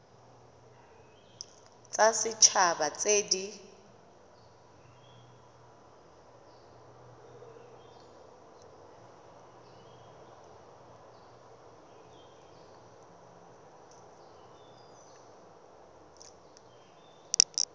tsa set haba tse di